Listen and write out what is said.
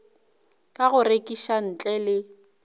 ka go rekiša ntle le